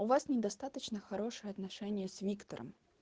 у вас недостаточно хорошие отношения с виктором